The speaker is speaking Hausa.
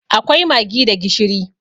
Akwai maggi da gishiri.